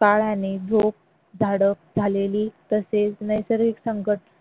काळाने झोप झडप झालेली तसेच नैसर्गिक संकट